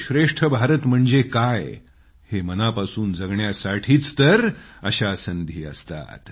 श्रेष्ठ भारत म्हणजे काय हे मनापासून जगण्यासाठीच तर अशा संधी असतात